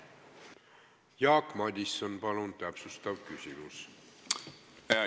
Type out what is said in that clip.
Jaak Madison, palun täpsustav küsimus!